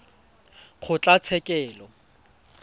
kgotlatshekelo